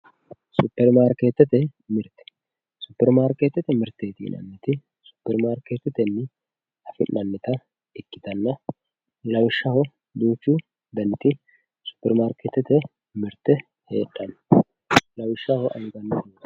supperimaarikettete mirteeti ,supperimaarkeetete mirteeti yinanniti supperemaarikeetetenni afi'nannita ikkitanna lawishshaho duuchu daniti supperimaarkeetete mirte heedhanno lawishshaho anganni